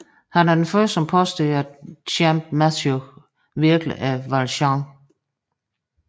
Han er den første som påstår at Champmathieu virkelig er Valjean